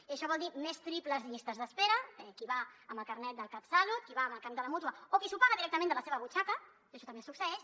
i això vol dir més triples llistes d’espera qui hi va amb el carnet del catsalut qui hi va amb el carnet de la mútua o qui s’ho paga directament de la seva butxaca i això també succeeix